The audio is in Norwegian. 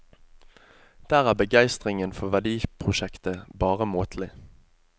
Der er begeistringen for verdiprosjektet bare måtelig.